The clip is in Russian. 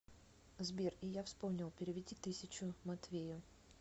сбер и я вспомнил переведи тысячу матвею